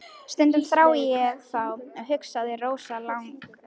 Stundum þrái ég þá, hugsaði Rósa langþjálfuð.